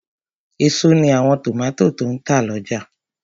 Èso ní àwọn tòmátò tó n tà lọ́jà